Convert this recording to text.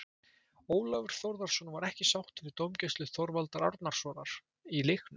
Ólafur Þórðarson var ekki sáttur við dómgæslu Þorvaldar Árnasonar í leiknum.